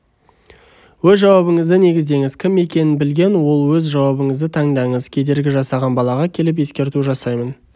өз жауабыңызды негіздеңіз кім екенін білген ол өз жауабыңызды таңдаңыз кедергі жасаған балаға келіп ескерту жасаймын